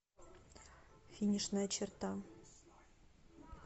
финишная черта